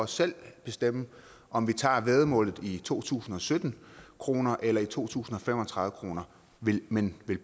selv bestemme om vi tager væddemålet i to tusind og sytten kroner eller i to tusind og fem og tredive kroner men vil